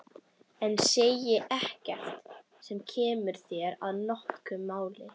En segi ekkert sem kemur þér að notum í málinu.